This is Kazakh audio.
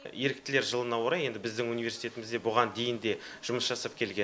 еріктілер жылына орай енді біздің университетімізде бұған дейін де жұмыс жасап келген